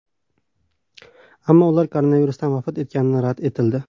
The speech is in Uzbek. Ammo ular koronavirusdan vafot etgani rad etildi.